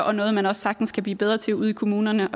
og noget man også sagtens kan blive bedre til ude i kommunerne